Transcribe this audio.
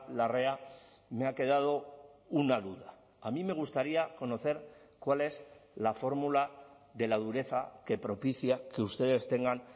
larrea me ha quedado una duda a mí me gustaría conocer cuál es la fórmula de la dureza que propicia que ustedes tengan